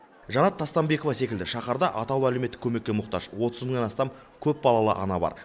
жанат тастанбекова секілді шаһарда атаулы әлеуметтік көмекке мұқтаж отыз мыңнан астам көпбалалы ана бар